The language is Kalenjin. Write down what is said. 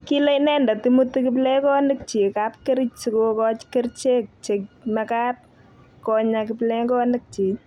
kile inendet imuti kiplekonikchich kapkerich sikukochi kerichek che mekat konyaa kiplekonik chich